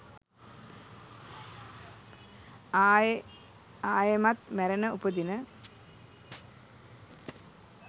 අයෙ අයෙමත් මැරෙන උපදින